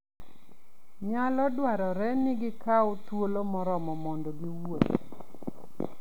Nyalo dwarore ni gikaw thuolo moromo mondo giwuoth.